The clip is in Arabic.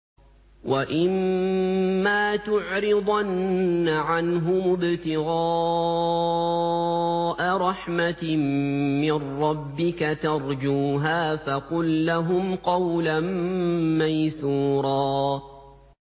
وَإِمَّا تُعْرِضَنَّ عَنْهُمُ ابْتِغَاءَ رَحْمَةٍ مِّن رَّبِّكَ تَرْجُوهَا فَقُل لَّهُمْ قَوْلًا مَّيْسُورًا